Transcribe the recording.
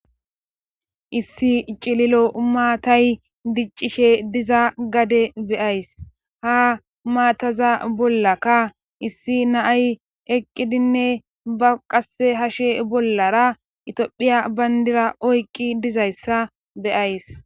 Issi cililo maatay diccishe diza gade be7ays,ha maataza bollaka issi na7ay eqqidinne ba qasse hashe bollara itophiya banddira oyqqi dizayssa be7ays.